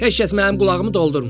Heç kəs mənim qulağımı doldurmayıb.